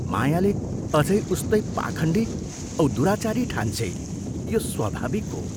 मायाले अझै उस्तै पाखण्डी औ दुराचारी ठान्छे, यो स्वाभाविक हो।